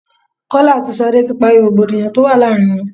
Kọ́lá àti Ṣadé ti parí rògbòdìyàn tó wà láàárín wọn.